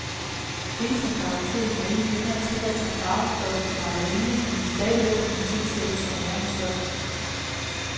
Betacaroten er ikke længere tilladt som farvestof til margarine, men vil stadigvæk kunne tilsættes som næringsstof.